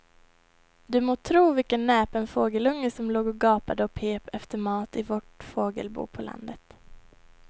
Du må tro vilken näpen fågelunge som låg och gapade och pep efter mat i vårt fågelbo på landet.